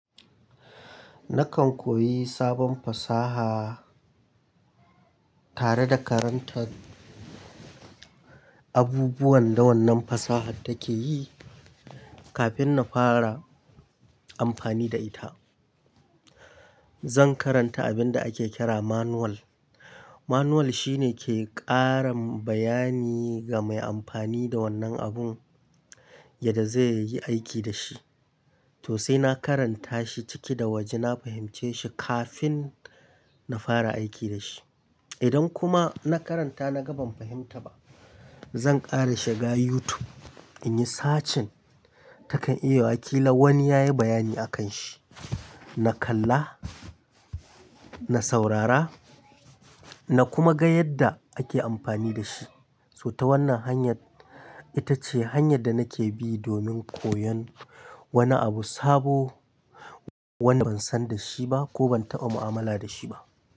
Nakan koyi sabon fasaha tare da karantar abubuwan da wannan fasahar take yi kafin na fara amfani da ita. Zan karanta abinda ake kira manual. Manual shine ke ƙarin bayani ga mai amfani da wannan abun yadda zai yi aiki da shi. To sai na karanta shi ciki da waje, na fahimce shi kafin na fara aiki da shi. Manual shine ke ƙara bayani ga mai amfani da wannan abun yadda zai yi aiki da shi. Na kalla, na saurara na kuma ga yadda ake amfani da shi. To sai na karanta shi ciki da waje, na fahimce shi kafin na fara aiki da shi. Wanda ban san da shi ba ko ban taɓa mu'amala da shi ba.